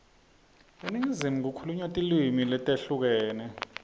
eningizimu kukhulunywa tilimi letehlukene